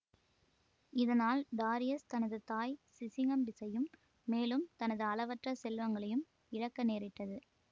இதனால் டாரியஸ் தனது தாய் சிசிகம்பிஸையும் மேலும் தனது அளவற்ற செல்வங்களையும் இழக்க நேரிட்டது